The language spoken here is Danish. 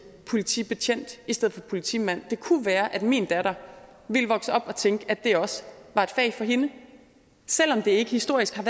politibetjent i stedet for politimand det kunne være at min datter ville vokse op og tænke at det også var et fag for hende selv om det ikke historisk har